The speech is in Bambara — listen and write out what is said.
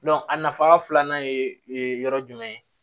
a nafa filanan ye yɔrɔ jumɛn ye